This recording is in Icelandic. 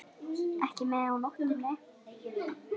Ekki með á nótunum.